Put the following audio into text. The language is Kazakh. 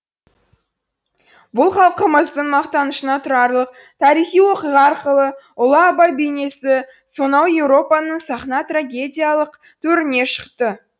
бұл халқымыздың мақтанышына тұрарлық тарихи оқиға арқылы ұлы абай бейнесі сонау еуропаның сахна трагедиялық төріне шықты